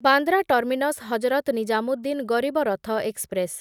Bandra terminus Hazrat Nizamuddin Garib Rath express